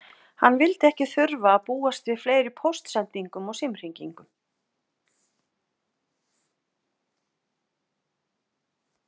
Hann vildi ekki þurfa að búast við fleiri póstsendingum og símhringingum.